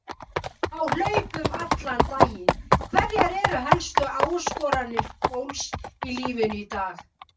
Á hlaupum allan daginn Hverjar eru helstu áskoranir fólks í lífinu í dag?